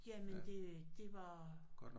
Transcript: Jamen det det var